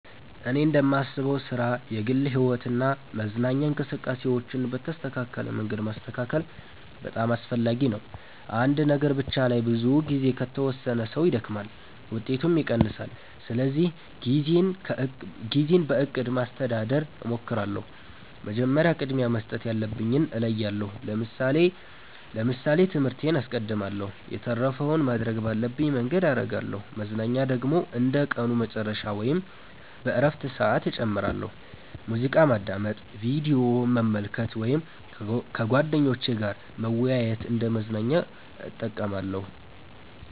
እኔ እንደማስበው ሥራ፣ የግል ሕይወት እና መዝናኛ እንቅስቃሴዎችን በተስተካከለ መንገድ ማስተካከል በጣም አስፈላጊ ነው። አንድ ነገር ብቻ ላይ ብዙ ጊዜ ከተወሰነ ሰው ይደክማል፣ ውጤቱም ይቀንሳል። ስለዚህ ጊዜን በእቅድ ማስተዳደር እሞክራለሁ። መጀመሪያ ቅድሚያ መስጠት ያለብኝን እለያለሁ ለምሳሌ ትምህርቴን አስቀድማለሁ የተረፈውን ማድረግ ባለብኝ መንገድ አረጋለሁ መዝናኛ ደግሞ እንደ ቀኑ መጨረሻ ወይም በእረፍት ሰዓት እጨምራለሁ። ሙዚቃ ማዳመጥ፣ ቪዲዮ መመልከት ወይም ከጓደኞች ጋር መወያየት እንደ መዝናኛ እጠቀማለሁ።